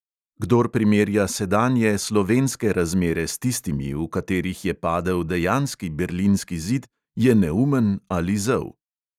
Kdor primerja sedanje slovenske razmere s tistimi, v katerih je padel dejanski berlinski zid, je neumen ali zel.